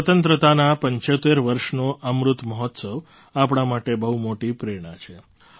સ્વતંત્રતાનાં ૭૫ વર્ષનો અમૃત મહોત્સવ આપણા માટે બહુ મોટી પ્રેરણા છે